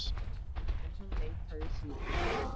En hún neitaði því.